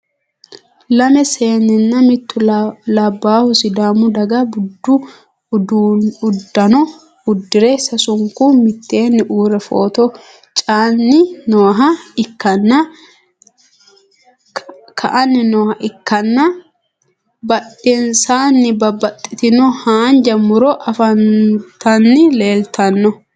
lamme seeninna mittu labahu sidaamu dagga budu udanno udire sasunku miteenni uure photo ca'anni nooha ikanna badhensaanni babaxitinoti haanja muro afantanni leelitanno.